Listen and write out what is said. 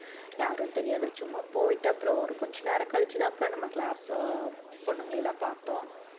யாரும் தெரியாது சும்மா போயிட்டு அப்புறம் ஒரு கொஞ்ச நேரம் கழிச்சுதான் அப்புறம் நம்ம class அஹ் பொண்ணுங்களை எல்லாம் பார்த்தோம்